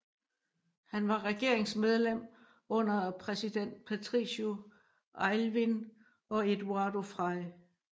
Han var regeringsmedlem under præsident Patricio Aylwin og Eduardo Frei